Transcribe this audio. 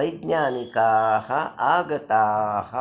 वैज्ञानिकाः आगताः